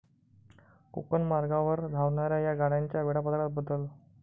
कोकण मार्गावर धावणाऱ्या या गाड्यांच्या वेळापत्रकात बदल